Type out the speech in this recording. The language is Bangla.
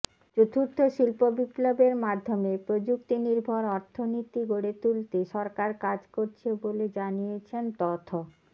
চতুর্থ শিল্প বিপ্লবের মাধ্যমে প্রযুক্তি নির্ভর অর্থনীতি গড়ে তুলতে সরকার কাজ করছে বলে জানিয়েছেন তথ